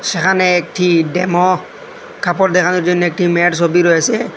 সেখানে একটি ডেমো কাপড় দেখানোর জন্য একটি মেয়ের সবি রয়েসে।